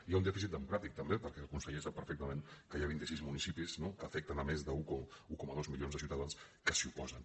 hi ha un dèficit democràtic també perquè el conseller sap perfectament que hi ha vint i sis municipis no que afecten més d’un coma dos milions de ciutadans que s’hi oposen